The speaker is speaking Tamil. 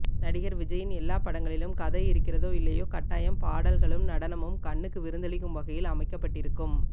நடிகர் விஜயின் எல்லா படங்களிலும் கதை இருக்கிறதோ இல்லையோ கட்டாயம் பாடல்களும் நடனமும் கண்ணுக்கு விருந்தளிக்கும் வகையில் அமைக்கப் பட்டிருக்கும்